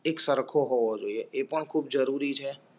એક સરખો હોવો જોઈએ પણ ખૂબ જરૂરી છે